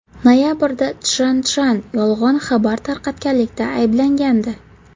Noyabrda Chjan Chjan yolg‘on xabar tarqatganlikda ayblangandi.